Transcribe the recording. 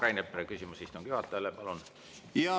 Rain Epler, küsimus istungi juhatajale, palun!